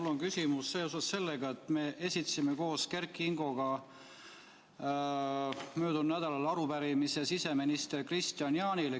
Mul on küsimus seoses sellega, et me esitasime koos Kert Kingoga möödunud nädalal arupärimise siseminister Kristian Jaanile.